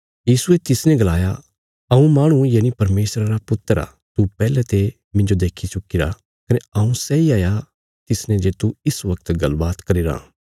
यीशुये तिसने गलाया हऊँ माहणु यनि परमेशरा रा पुत्र आ तू पैहले ते मिन्जो देक्खी चुक्कीरा कने हऊँ सैई हाया तिसने जे तू इस बगत गल्ल बात करीराँ